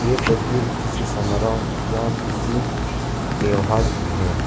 ये तस्वीर किसी समारोह या किसी त्योहार की है।